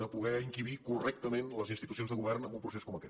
de poder encabir correctament les institucions de govern en un procés com aquest